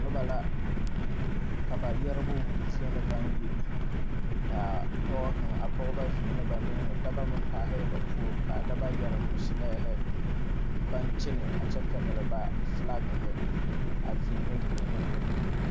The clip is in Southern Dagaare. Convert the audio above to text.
Nobɔ la ka ba yɛrebo wulle zie na baŋ yi kaa pɔɔ kaŋa a pɔgebɔ zeŋɛɛ dɔbɔ meŋ paahɛɛ be poɔ kaa dabɔ yɛre mɔsilɛɛhi baŋ kyenɛ a kyɛ pɛgle ba flakhi a veehe veehe.